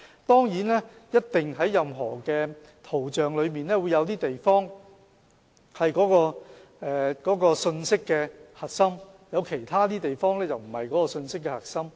當然，任何圖像上一定有些地方是信息的核心，而其他地方則不是信息的核心。